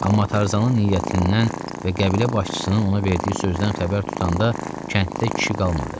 Amma Tarzanın niyyətindən və qəbilə başçısının ona verdiyi sözdən xəbər tutanda, kənddə kişi qalmadı.